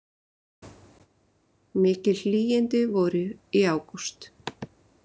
Mikil hlýindi voru í ágúst